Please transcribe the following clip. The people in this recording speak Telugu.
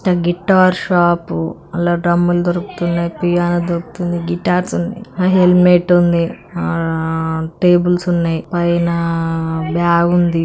గిటార్ షాప్ అల్ల డ్రమ్ములు దొరుకుతున్నాయి .పియానో దొరుకుతుంది.గిటార్స్ హెల్మెట్ ఉంది.ఆ టేబుల్స్ ఉన్నాయి.పైన ఆ బ్యాగ్ ఉంది.